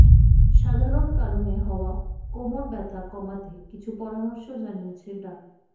সাধারণ কারণে হওয়া কোমর ব্যথা কমাতে কিছু পরামর্শ জানিয়েছে ডা